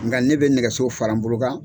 Nga ne bɛ nɛgɛso fara n bolo kan.